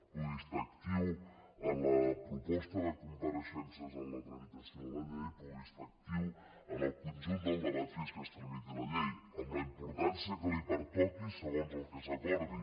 pugui estar actiu en la proposta de compareixences en la tramitació de la llei pugui estar actiu en el conjunt del debat fins que es tramiti la llei amb la importància que li pertoqui segons el que s’acordi